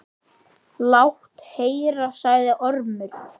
Lát heyra, sagði Ormur.